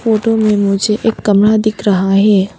Photo में मुझे एक कमरा दिख रहा है।